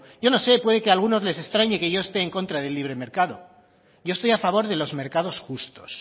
yo no sé puede que a algunos les extrañe que yo esté en contra del libre mercado yo estoy a favor de los mercados justos